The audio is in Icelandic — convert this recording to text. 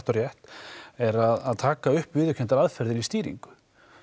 og rétt er að taka upp viðurkendar aðferðir í stýringu